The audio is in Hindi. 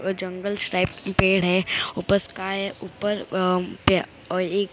वह जंगल्स टाइप पेड़ है ऊपर स्काइ है ऊपर अ अ एक--